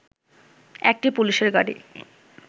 একটি পুলিশের গাড়ি